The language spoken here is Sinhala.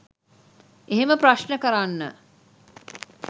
එහෙම ප්‍රශ්න කරන්න.